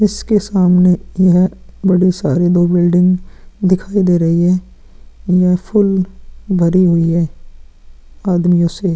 इसके सामने यह बड़े सारे दो बिल्डिंग दिखाई दे रही है। यह फूल भरी हुई है आदमियों से।